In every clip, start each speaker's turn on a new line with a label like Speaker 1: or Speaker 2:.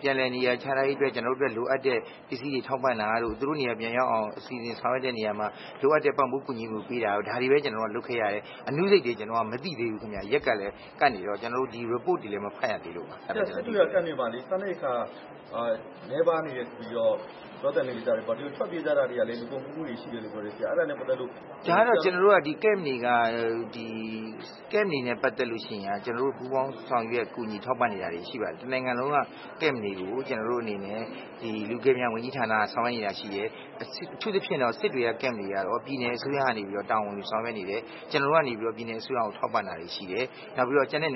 Speaker 1: ပြန်လည်နေရာချထားရေးအတွက် လိုအပ်တဲ့ ပစ္စည်းတွေ ထောက်ပံ့တာတို့၊ သူတို့နေရာပြန်ရောက်အောင် စီစဉ်ဆောင်ရွက်တဲ့နေရာမှာ လိုအပ်တဲ့ ပံ့ပိုးကူညီမှုပေးတာတို့ လုပ်ခဲ့တာ။ အသေးစိတ်ကိုတော့ မသိဘူးဗျ။
Speaker 2: စစ်တွေက ဒုက္ခသည်စခန်းတွေမှာ စားနပ်ရိက္ခာ နည်းပါးတယ်လို့ ပြောသံကြားတယ်။ ထွက်ပြေးတာတွေကလည်း လူကုန်ကူးခံရတာတွေ ရိက္ခာ အခက်အခဲတွေကြောင့်လို့ ပြောတယ်။
Speaker 1: စခန်းတွေနဲ့ ပတ်သက်ရင် ကျနော်တို့ ပူးပေါင်းဆောင်ရွက် ကူညီနေတာတွေရှိတယ်။ တစ်နိုင်ငံလုံးက ဒုက္ခသည်စခန်းတွေကို လူကယ်ပြန်ဝန်ကြီးဌာနက ဆောင်ရွက်နေတာရှိတယ်။ အထူးသဖြင့် စစ်တွေက ဒုက္ခသည်စခန်းတွေကိုတော့ ပြည်နယ်အစိုးရက တာဝန်ယူဆောင်ရွက်နေတယ်။ ကျနော်တို့က ပြည်နယ်အစိုးရကို ထောက်ပံ့တာတွေရှိတယ်။ ကျန်တဲ့ စ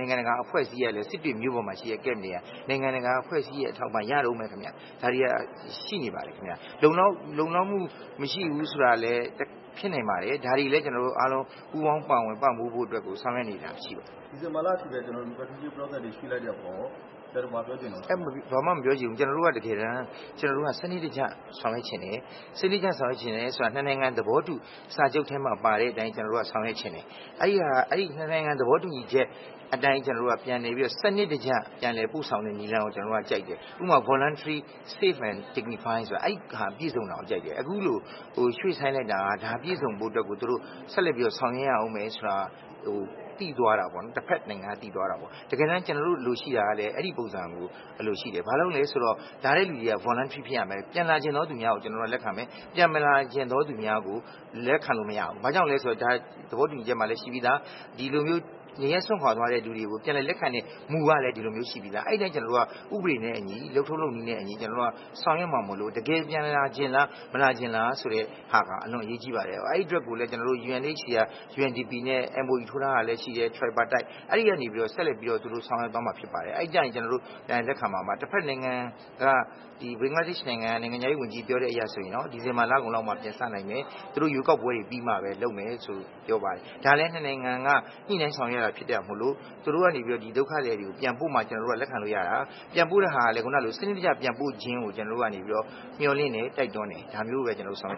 Speaker 1: စ်တွေမြို့ပေါ်က စခန်းတွေက နိုင်ငံတကာ အဖွဲ့အစည်းတွေရဲ့ အထောက်အပံ့ရတုန်းပဲခင်ဗျ။ ဒါတွေက ရှိနေပါတယ်။ လုံလောက်မှုမရှိဘူးဆိုတာလည်း ဖြစ်နိုင်ပါတယ်။ ဒါတွေလည်း ကျနော်တို့ အားလုံး ပူးပေါင်းပါဝင်ပံ့ပိုးဖို့ ဆောင်ရွက်နေတာရှိပါတယ်။
Speaker 2: ဒုက္ခသည်တွေ ပြန်လည်လက်ခံရေးကို ဒီဇင်ဘာလကုန်အထိ ရွှေ့လိုက်တဲ့အပေါ်မှာ ဘာများပြောချင်ပါသလဲ။
Speaker 1: ကျနော်တို့က စနစ်တကျ ဆောင်ရွက်ချင်တယ်၊ စနစ်တကျဆိုတာ နှစ်နိုင်ငံ သဘောတူထားတဲ့ စာချုပ်ထဲမှာ ပါတဲ့အတိုင်း ဆောင်ရွက်ချင်တယ်၊ အဲ့စာချုပ်ထဲမှာ စနစ်တကျ ပြန်လည် ပို့ဆောင်တဲ့ နည်းလမ်းကို ကျနော်တို့က ကြိုက်တယ်၊ ဥပမာ ဘေးကင်းလုံခြုံရေးနဲ့ ဂုဏ်သိက္ခာရှိရှိ နေရပ်ပြန်နိုင်ရေးဖြစ်ဖို့ကို ကြိုက်တယ်၊ ရွှေ့ဆိုင်းလိုက်တယ်ဆိုတာ အဲဒါပြည့်စုံဖို့ကို ဆက်ပြီးတော့ ဆောင်ရွက်ရအုံးမယ်ဆိုတာ တစ်ဘက်နိုင်ငံက သိသွားတာပေါ့နော်၊ တကယ်တမ်း ကျနော်တို့ လိုချင်တာ ကလည်း အဲ့ဒါမျိုးဖြစ်ဖို့ကို အလိုရှိတယ်၊ ဘာလို့လည်းဆိုတော့ ပြန်လာချင်တဲ့ သူများကို ကျနော်တို့က လက်ခံမယ်၊ ပြန်မလာချင်တဲ့သူတွေကို လက်ခံလို့မရဘူး၊ ဘာကြောင့်လည်းဆိုတော့ သဘောတူညီချက်မှာလည်း ရှိပြီးသား နေရပ်စွန့်ခွာသွားတဲ့သူတွေကို ပြန်လည်လက်ခံတဲ့ မူကလည်း ရှိပြီးသား၊ အဲ့အတိုင်းမူက လုပ်ထုံးလုပ်နည်းနဲ့အညီ ဥပဒေနဲ့အညီ ဆောင်ရွက်မှာမို့လို့ တကယ်ပြန်လာချင်လား၊ ပြန်မလာချင်လား ဆိုတဲ့ဟာက အလွန်အရေးကြီးပါတယ်၊ အဲ့အတွက်ကိုလည်း UNHCR၊ UNDP နဲ့ MOU ထိုးထားတာရှိတယ်၊ အဲကနေ သူတို့ ပြန်လည်ဆောင်ရွက်သွားမှာဖြစ်ပါတယ်၊ အဲ့ကျရင် ကျနော်တို့ ပြန်လည်လက်ခံမှာဖြစ်ပါတယ်၊ တစ်ဘက်နိုင်ငံက ဘင်္ဂလားဒေ့ရှ်နိုင်ငံက နိုင်ငံခြားရေးဝန်ကြီး ပြောတဲ့ပုံစံအရဆိုရင် ဒီဇင်ဘာလကုန်ပိုင်းလောက် မှာ ပြန်စနိုင်မယ်၊ သူတို့ ရွေးကောက်ပွဲတွေ ပြီးမှပဲ လုပ်မယ်လို့ပြောပါတယ်၊ ဒါလည်း နှစ်နိုင်ငံက ညှိနှိုင်းဆောင်ရွက်ရတာဖြစ်တာမို့ သူတို့ကနေ ဒုက္ခသည်တွေ ပြန်ပို့မှ လက်ခံလို့ရတာ၊ ပြန်ပို့တဲ့ အခါမှာလည်း စနစ်တကျ ပြန်ပို့ခြင်းကို ကျနော်တို့က မျှော်လင့်တယ် တိုက်တွန်းတယ်၊ ဒါကိုပဲ ကျနော်တို့က ဆောင်